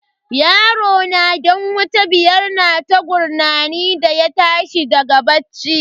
Yarona dan wata biyar na ta gurnani da ya tashi daga bacci.